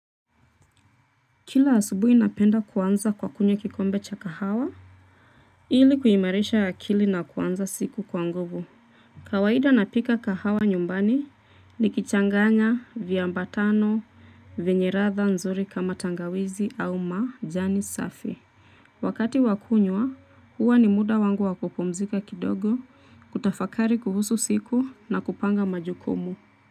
Kila asubuhi napenda kuanza kwa kunywa kikombe cha kahawa. Ili kuimarisha akili na kuanza siku kwa nguvu. Kawaida napika kahawa nyumbani nikichanganya, viambatano, vyenye ladha nzuri kama tangawizi au majani safi. Wakati wa kunywa, huwa ni muda wangu wa kupumzika kidogo, kutafakari kuhusu siku na kupanga majukumu.